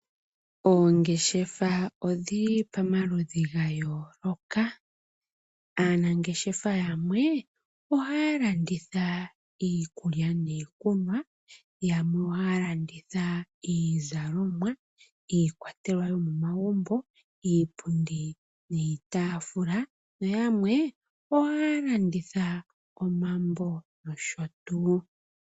Oongeshefa odhili pamaludhi ga yooloka. Aanangeshefa yamwe ohaya landitha iikulya niikunwa, yamwe ohaya landitha iizalomwa, iikwatelwa yomomagumbo, iipundi niitafula, nayamwe ohaya landitha omambo noshotuu